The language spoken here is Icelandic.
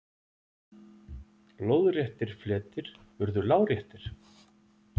Lóðréttir fletir urðu láréttir.